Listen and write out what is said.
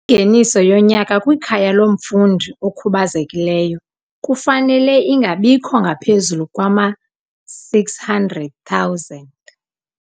Ingeniso yonyaka kwikhaya lomfundi okhubazekileyo kufanele ingabikho ngaphezulu kwama-R600 000.